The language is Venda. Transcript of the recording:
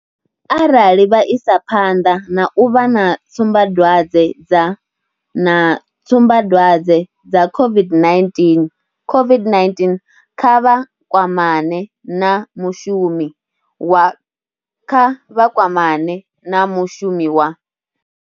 Arali vha isa phanḓa na u vha na tsumbadwadze dza na tsumbadwadze dza COVID-19, COVID-19 kha vha kwamane na mushumi wa kha vha kwamane na mushumi wa.